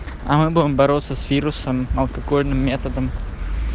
а мы будем бороться с вирусом алкогольным методом